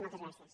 moltes gràcies